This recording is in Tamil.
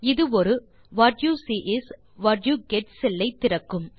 இது ஒரு what you see is what you get செல் ஐ திறக்கும்